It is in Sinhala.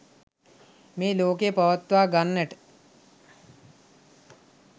මේ ලෝකය පවත්වා ගන්නට